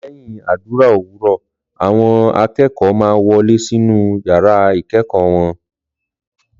Lèhín àdúrà òwúrọ̀, àwọn akẹ́kọ̀ọ́ má wọlé sínú yàrá ikẹ́kọ́ wọn